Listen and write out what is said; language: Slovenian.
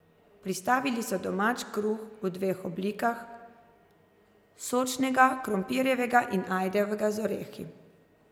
Pristavili so domač kruh v dveh oblikah, sočnega krompirjevega in ajdovega z orehi.